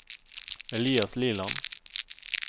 Elias Liland